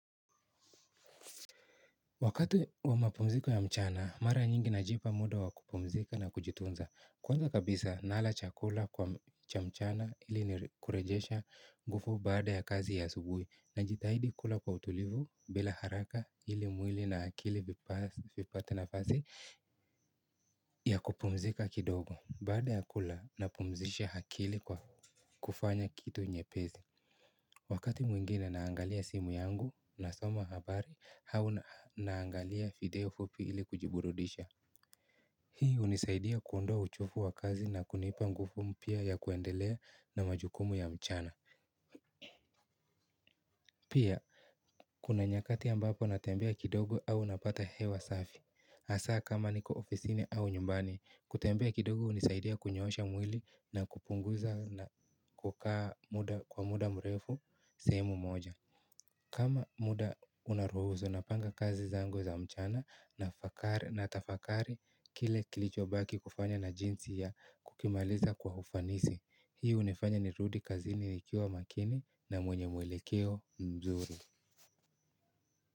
Wakati wa mapumziko ya mchana, mara nyingi najipa muda wa kupumzika na kujitunza. Kwanza kabisa, nala chakula kwa cha mchana ili ni kurejesha nguvu baada ya kazi ya asubuhi. Najitahidi kula kwa utulivu bila haraka ili mwili na akili vipate nafasi ya kupumzika kidogo. Baada ya kula napumzisha akili kwa kufanya kitu nyepesi. Wakati mwingine naangalia simu yangu nasoma habari au naangalia video fupi ili kujiburudisha. Hii hunisaidia kuondoa uchovu wa kazi na kunipa nguvu mpya ya kuendelea na majukumu ya mchana. Pia, kuna nyakati ambapo natembea kidogo au napata hewa safi, hasaa kama niko ofisini au nyumbani, kutembea kidogo hunisaidia kunyoosha mwili na kupunguza na kukaa muda kwa muda mrefu sehemu moja. Kama muda unaruhusu napanga kazi zangu za mchana nafakari natafakari kile kilicho baki kufanya na jinsi ya kukimaliza kwa ufanisi. Hii hunifanya nirudi kazini nikiwa makini na mwenye mwelekeo mzuri.